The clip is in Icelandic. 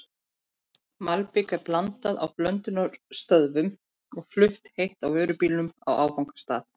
Malbik er blandað á blöndunarstöðvum og flutt heitt á vörubílum á áfangastað.